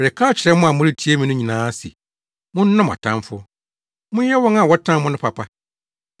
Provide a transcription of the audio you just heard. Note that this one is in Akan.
“Mereka akyerɛ mo a moretie me no nyinaa se monnɔ mo atamfo; monyɛ wɔn a wɔtan mo no papa.